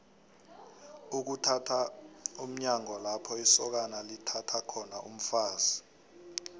ukuthatha mnyanya lapho isokana lithatha khona umfazi